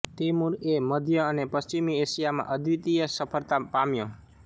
તૈમૂરએ મધ્ય અને પશ્ચિમી એશિયામાં અદ્વિતીય સફ઼ળતા પામ્યો